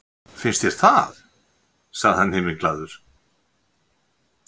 Finnst þér það? sagði hann himinglaður.